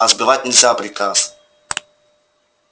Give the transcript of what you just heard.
а сбивать нельзя приказ